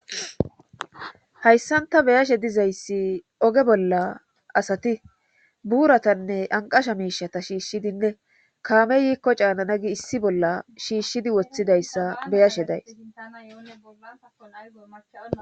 hayssanta beyashe dizayssi oge bolla asati buuratanne anqasha miishata shiishshidinne kaame yiikko caanana gi issi bolla shiishshidi woththidayssa beyashe days